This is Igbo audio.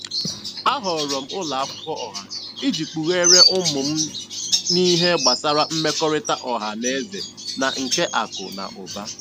A họọrọ m ụlọ akwụkwọ ọha iji kpugheere ụmụ m n'ihe gbasara mmekọrịta ọha na eze na nke akụ na ụba.